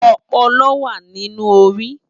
Òpòlò wá ninú óri